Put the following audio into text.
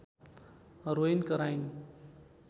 रोइन् कराइन्